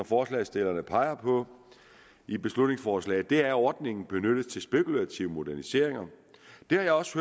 forslagsstillerne peger på i beslutningsforslaget er at ordningen benyttes til spekulative moderniseringer jeg har også